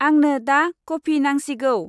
आंनो दा कफि नांसिगौ।